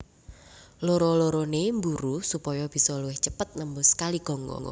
Loro lorone mburu supaya bisa luwih cepet nembus Kali Gangga